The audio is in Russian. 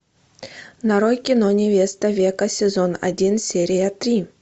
нарой кино невеста века сезон один серия три